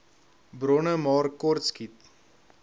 bronne maar kortskiet